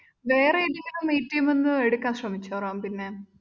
വേറെ ഏതെങ്കിലു ന്ന് എടുക്കാന്‍ ശ്രമിച്ചോ റാംപിന്നെ?